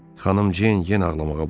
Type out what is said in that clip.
Xanım Ceyn yenə ağlamağa başladı.